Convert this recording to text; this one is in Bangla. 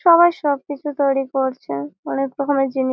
সবাই সব কিছু তৈরী করছে অনেক রকমের যিনি--